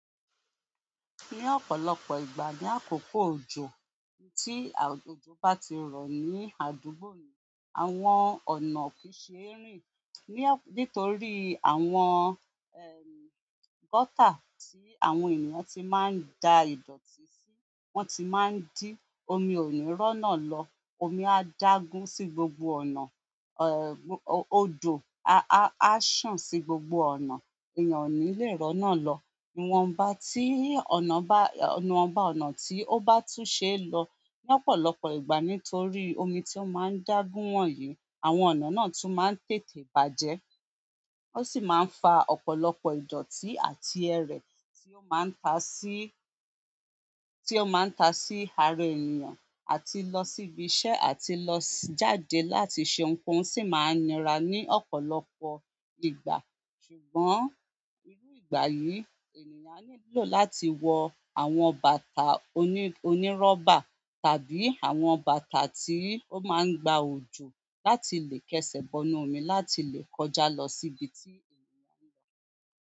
Ní ọ̀pọ̀lọpọ̀ ìgbà ní àkókò òjò, tí òjò bá ti rọ̀ ní àdúgbò ni àwọn ọ̀nà kì í ṣe rìn. Bóyá nítorí àwọn ehm gutter tí àwọn ènìyàn ti máa da ìdọ̀tí si, ó ti máa ń di omi ó rọna lọ omi ádágún sí gbogbo ọ̀nà, ẹ odò aa ásàn sí gbogbo ọ̀nà èyànn ó ní lè rọnà lọ ìwọ̀nba tí ọ̀nà bá, ìwọ̀nba ọ̀nà tí ó bá tún ṣe é lọ, ní ọ̀pọ̀lọpọ̀ ìgbà nítorí omi tí ó máa ń dágun wọ̀nyí, àwọn ọ̀nà náà tún máa ń tètè bàjẹ́. Ó sì máa n fa ọ̀pọ̀lọpọ̀ ìdọ̀tí àti ẹrè, tí ó máa ta sí, tí ó máa ta sí ara ènìyàn, àti lọ sí ibi iṣẹ́ àti lo àti jáde láti se ohunkóhun sí máa nira ní ọ̀pọ̀lọpọ̀. Ṣùgbọ́n, ìrú ìgbà yìí, ènìyàn á nílò láti wọ àwọn bàtà oní, onírọ́bà tàbí àwọn bàtà tí ó máa ń gba òjò láti lè kẹsẹ̀ bọnu omi láti lè kọjá lọ sí ibi tí ènìyàn ń lọ.